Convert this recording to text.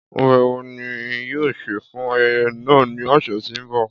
Ọbẹ wo ni yoo se fun ayẹyẹ naa ni ọsẹ ti n bọ?